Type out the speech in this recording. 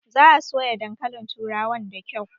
Za a soya dankalin turawan da kyau